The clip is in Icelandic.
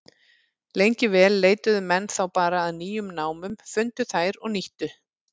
Lengi vel leituðu menn þá bara að nýjum námum, fundu þær og nýttu.